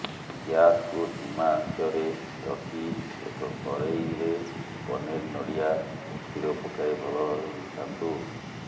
ଗ୍ୟାସକୁ ଧିମା ଆଂଚରେ ରଖି ଏକ କରେଇରେ ପନିର୍ ନଡ଼ିଆ ଓ ଖିର ପକାଇ ଭଲ ଭାବେ ମିଶାନ୍ତୁ